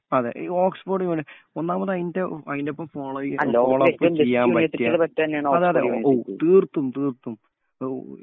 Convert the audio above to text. Oxford എന്ന് പറഞ്ഞാൽ ഒന്നാമത് അതിന്റെ അതിന്ടൊപ്പം ഫോളോ ചെയ്ത് ഫോളോ അപ് ചെയ്യാന്‍ പറ്റിയ അതെ അതെ തീർക്കും തീർക്കും